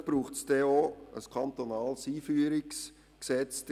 Vielleicht braucht es dann ein kantonales Einführungsgesetz.